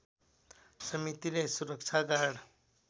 समितिले सुरक्षा गार्ड